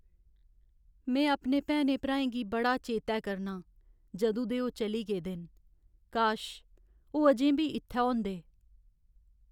में अपने भैनें भ्राएं गी बड़ा चेतै करना आं जदूं दे ओह् चली गेदे न। काश ओह् अजें बी इ'त्थै होंदे।